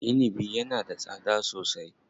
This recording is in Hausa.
Inibi yana da tsada sosai.